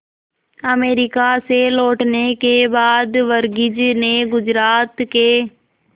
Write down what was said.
America से लौटने के बाद वर्गीज ने गुजरात के